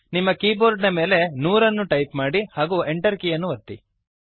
ನಿಮ್ಮ ಕೀಬೋರ್ಡ್ ನ ಮೇಲೆ 100 ಅನ್ನು ಟೈಪ್ ಮಾಡಿರಿ ಹಾಗೂ Enter ಕೀಯನ್ನು ಒತ್ತಿರಿ